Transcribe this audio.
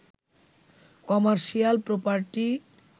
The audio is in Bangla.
commercial property